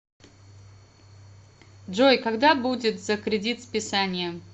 джой когда будет за кредит списание